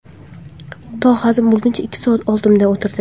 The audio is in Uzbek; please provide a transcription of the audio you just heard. To hazm bo‘lguncha ikki soat oldimda o‘tirdi.